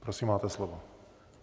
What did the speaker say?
Prosím, máte slovo.